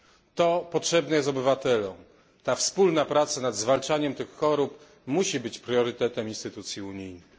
To potrzebne jest obywatelom, wspólna praca nad zwalczaniem tego typu chorób musi być priorytetem instytucji unijnych.